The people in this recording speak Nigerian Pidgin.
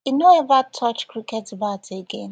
e no ever touch cricket bat again